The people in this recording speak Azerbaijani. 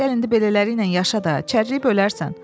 Gəl indi belələri ilə yaşa da, çərləyib ölərsən.